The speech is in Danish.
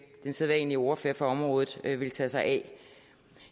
den sædvanlige ordfører på området vil tage sig af